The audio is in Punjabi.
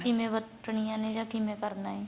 ਕਿਵੇਂ ਵਰਤਣੀਆ ਨੇ ਜਾਂ ਕਿਵੇਂ ਕਰਨਾ ਏ